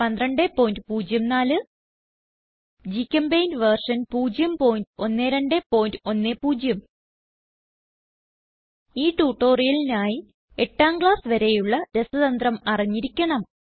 1204 GChemPaint version 01210 ഈ ട്യൂട്ടോറിയലിനായി എട്ടാം ക്ലാസ്സ് വരെയുള്ള രസതന്ത്രം അറിഞ്ഞിരിക്കണം